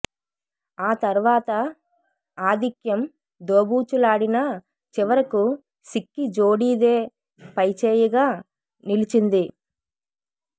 ఆ తర్వాత ఆధిక్యం దోబూచులాడినా చివరకు సిక్కి జోడీదే పైచేయిగా నిలిచింది